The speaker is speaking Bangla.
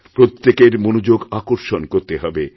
প্রত্যেকের মনযোগ আকর্ষণ করতে হবে